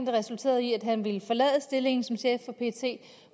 resulterede i at han ville forlade stillingen som chef for pet